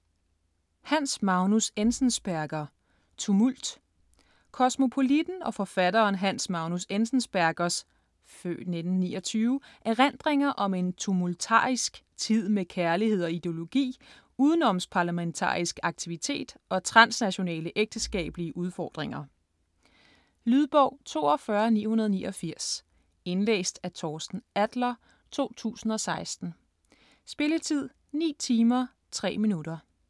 Enzensberger, Hans Magnus: Tumult Kosmopolitten og forfatteren Hans Magnus Enzensbergers (f. 1929) erindringer om en tumultarisk tid med kærlighed og ideologi, udenomsparlamentarisk aktivitet og transnationale ægteskabelige udfordringer. Lydbog 42989 Indlæst af Torsten Adler, 2016. Spilletid: 9 timer, 3 minutter.